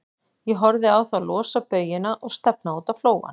Ég horfði á þá losa baujuna og stefna út á flóann.